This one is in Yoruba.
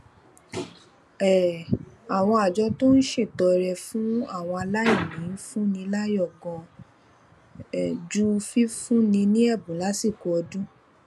um àwọn àjọ tó ń ṣètọrẹ fún àwọn aláìní ń fúnni láyò ganan ju fífúnni ní èbùn lásìkò ọdún